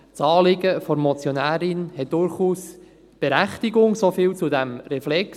Das Anliegen der Motionärin hat durchaus Berechtigung – so viel zu diesem Reflex.